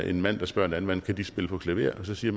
en mand der spørger en anden mand kan de spille på klaver og så siger